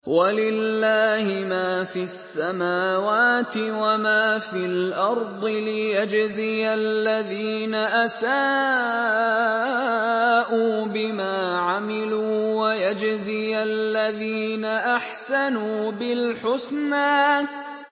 وَلِلَّهِ مَا فِي السَّمَاوَاتِ وَمَا فِي الْأَرْضِ لِيَجْزِيَ الَّذِينَ أَسَاءُوا بِمَا عَمِلُوا وَيَجْزِيَ الَّذِينَ أَحْسَنُوا بِالْحُسْنَى